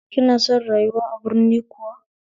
Ki na son rayuwa a birni kuwa?